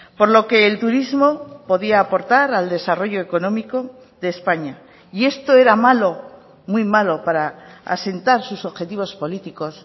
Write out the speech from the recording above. por lo que el turismo podía aportar al desarrollo económico de españa y esto era malo muy malo para asentar sus objetivos políticos